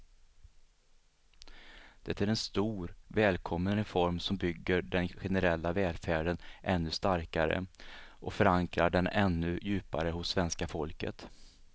Det är en stor, välkommen reform som bygger den generella välfärden ännu starkare och förankrar den ännu djupare hos svenska folket.